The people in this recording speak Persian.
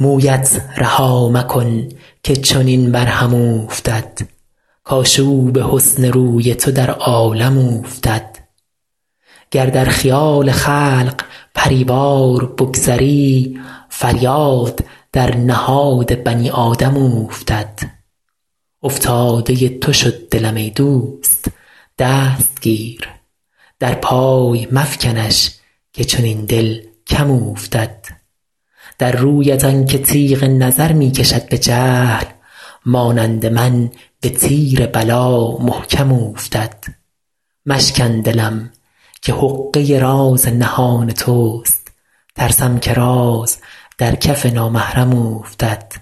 مویت رها مکن که چنین بر هم اوفتد کآشوب حسن روی تو در عالم اوفتد گر در خیال خلق پری وار بگذری فریاد در نهاد بنی آدم اوفتد افتاده تو شد دلم ای دوست دست گیر در پای مفکنش که چنین دل کم اوفتد در رویت آن که تیغ نظر می کشد به جهل مانند من به تیر بلا محکم اوفتد مشکن دلم که حقه راز نهان توست ترسم که راز در کف نامحرم اوفتد